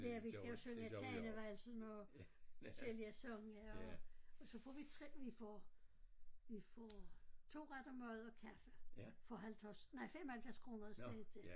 Ja vi skal jo synge Tejnevalsen og forskellige sange og og så får vi 3 vi får vi får 2 retter mad og kaffe for 50 nej 55 kroner er det steget til